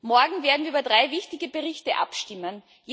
Morgen werden wir über drei wichtige Berichte abstimmen.